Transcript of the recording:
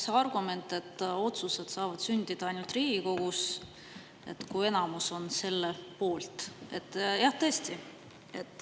See argument, et otsused saavad sündida ainult Riigikogus, kui enamus on selle poolt – jah, tõesti.